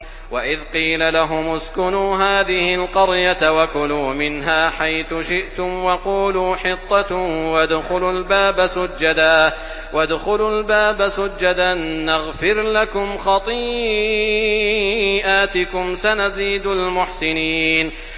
وَإِذْ قِيلَ لَهُمُ اسْكُنُوا هَٰذِهِ الْقَرْيَةَ وَكُلُوا مِنْهَا حَيْثُ شِئْتُمْ وَقُولُوا حِطَّةٌ وَادْخُلُوا الْبَابَ سُجَّدًا نَّغْفِرْ لَكُمْ خَطِيئَاتِكُمْ ۚ سَنَزِيدُ الْمُحْسِنِينَ